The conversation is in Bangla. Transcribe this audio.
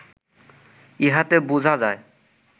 ইহাতে বুঝা যায়